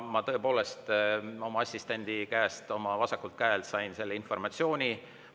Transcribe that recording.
Ma tõepoolest oma assistendi käest minu vasakul käel sain selle informatsiooni.